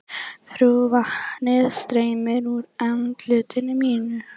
Vatnið streymir úr andliti mínu.